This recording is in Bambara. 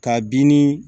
K'a bin ni